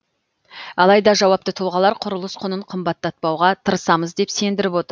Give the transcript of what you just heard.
алайда жауапты тұлғалар құрылыс құнын қымбаттатпауға тырысамыз деп сендіріп отыр